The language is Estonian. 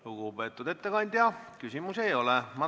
Lugupeetud ettekandja, küsimusi ei ole.